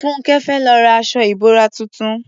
Fúnńkẹ́ fẹ́ lọ ra aṣọ ìbora tuntun